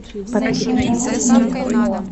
запускай пропавший мастер клинка